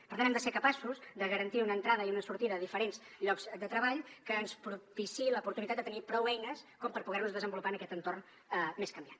per tant hem de ser capaços de garantir una entrada i una sortida a diferents llocs de treball que ens propiciï l’oportunitat de tenir prou eines com per poder nos desenvolupar en aquest entorn més canviant